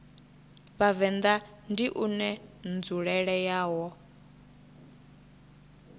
vhavenḓa ndi une nzulele yawo